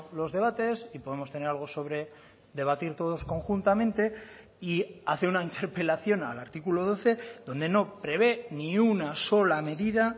los debates y podemos tener algo sobre debatir todos conjuntamente y hace una interpelación al artículo doce donde no prevé ni una sola medida